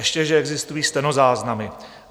Ještě že existují stenozáznamy.